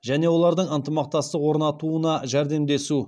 және олардың ынтымақтастық орнатуына жәрдемдесу